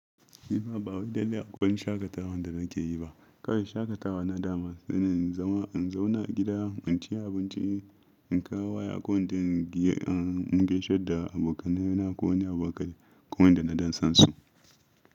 Ni ma ba wani dadi aƙwan shaƙatawan da nake yi ba. Kawai shaƙatawa na dama shine in zama, in zauna a gida, in ci abinci, in kawo kaya ko in mun gaishe da abokanai na ko wani abokai ko wanda na don san su.